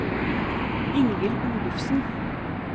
Ingvild Olufsen